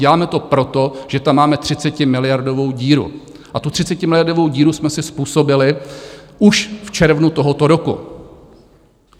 Děláme to proto, že tam máme 30miliardovou díru, a tu 30miliardovou díru jsme si způsobili už v červnu tohoto roku.